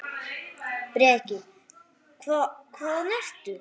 Breki: Hvað, hvaðan ertu?